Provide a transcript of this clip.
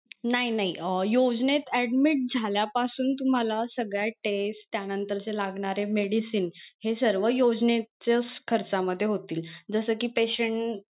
नाही नाही अं योजनेत admit झाल्या पासून तुम्हाला सगळ्या test त्या नंतरचे लागणारे medicine हे सर्व योजनेचंच खर्च मध्ये होतील जस कि patient